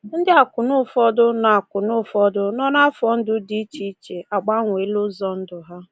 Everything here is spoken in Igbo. Ndị akwụna ụfọdụ nọ akwụna ụfọdụ nọ n’afọ ndụ dị iche iche agbanweela ụzọ ndụ ha.